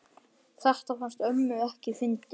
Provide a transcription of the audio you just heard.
Þetta fannst ömmu ekki fyndið.